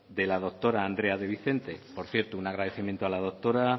de la doctora andrea de vicente por cierto un agradecimiento a la doctora